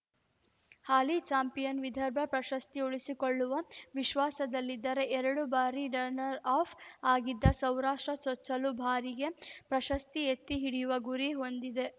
ಹಾಲಿ champion Vidarbha ಪ್ರಶಸ್ತಿ ಉಳಿಸಿಕೊಳ್ಳುವ ವಿಶ್ವಾಸದಲ್ಲಿದ್ದರೆ ಎರಡು ಬಾರಿ ರನ್ನರ್‌ಅಫ್ ಆಗಿದ್ದ ಸೌರಾಷ್ಟ್ರ ಚೊಚ್ಚಲ ಬಾರಿಗೆ ಪ್ರಶಸ್ತಿ ಎತ್ತಿಹಿಡಿಯುವ ಗುರಿ ಹೊಂದಿದೆ